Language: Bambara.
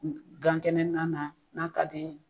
Gankɛnɛ na na n'a ka di